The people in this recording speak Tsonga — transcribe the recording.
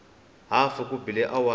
hafu ku bile awara ya